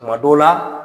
Tuma dɔw la